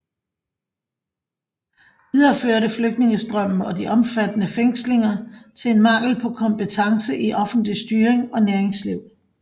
Videre førte flygtningstrømmen og de omfattende fængslinger til en mangel på kompetance i offentlig styring og næringsliv